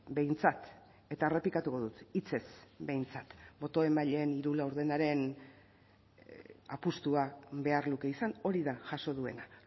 behintzat eta errepikatuko dut hitzez behintzat boto emaileen hiru laurdenaren apustua behar luke izan hori da jaso duena